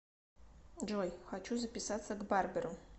джой хочу записаться к барберу